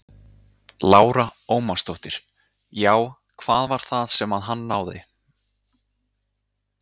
Lára Ómarsdóttir: Já, hvað var það sem að hann náði?